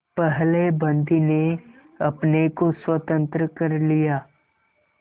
पहले बंदी ने अपने को स्वतंत्र कर लिया